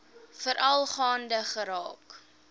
veral gaande geraak